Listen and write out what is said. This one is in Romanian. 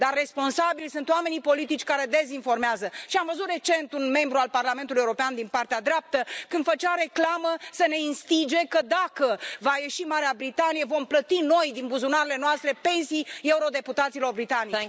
Dar responsabili sunt oamenii politici care dezinformează și am văzut recent un membru al Parlamentului European, de dreapta, când făcea reclamă să ne instige că, dacă va ieși Marea Britanie, vom plăti noi, din buzunarele noastre, pensii eurodeputaților britanici.